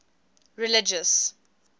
religious